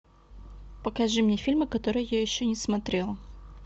покажи мне фильмы которые я еще не смотрела